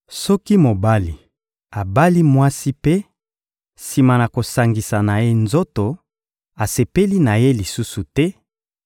Soki mobali abali mwasi mpe, sima na kosangisa na ye nzoto, asepeli na ye lisusu te,